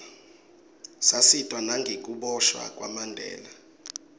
satiswa nengukiboshwa kwamandela